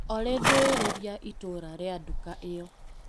Olĩ ndũĩrĩria itũra rĩa nduka ĩyo.